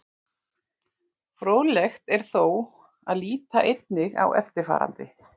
Fróðlegt er þó að líta einnig á eftirfarandi.